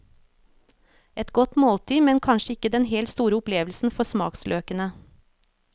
Et godt måltid, men kanskje ikke den helt store opplevelsen for smaksløkene.